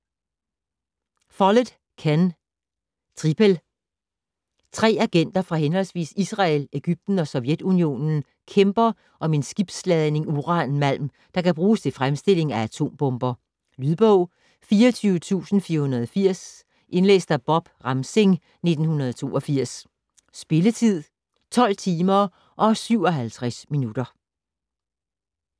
Follett, Ken: Tripel Tre agenter fra henholdsvis Israel, Egypten og Sovjetunionen kæmper om en skibsladning uranmalm, der kan bruges til fremstilling af atombomber. Lydbog 24480 Indlæst af Bob Ramsing, 1982. Spilletid: 12 timer, 57 minutter.